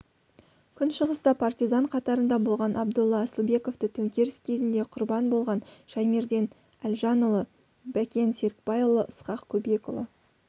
күншығыста партизан қатарында болған абдолла асылбековты төңкеріс кезінде құрбан болған шаймерден әлжанұлы бәкен серікбайұлы ысқақ көбекұлы